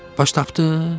Baş tapdın?